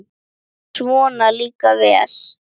Svona líka vel!